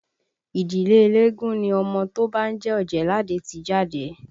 Ìdílé eléégún ni ọmọ tó bá ń jẹ́ Ọ̀jẹ̀ẹ́làdé ti jáde